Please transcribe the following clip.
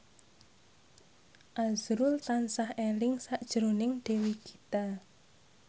azrul tansah eling sakjroning Dewi Gita